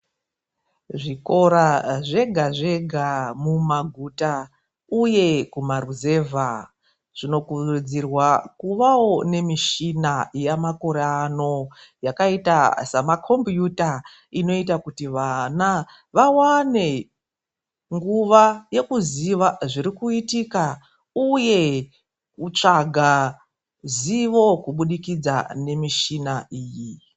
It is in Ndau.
Zvikora zvega zvega mumaguta uye kumaruzevha, zvinokurudzirwa kuvawo nemishina yamakore ano yakaita samakombiuta inoita kuti vana vawane nguva yekuziva zviri kuitika uye kutsvaga zivo kubudikidza nemishina iyi.